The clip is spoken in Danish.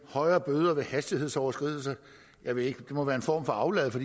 højere bøder ved hastighedsoverskridelser det må være en form for aflad for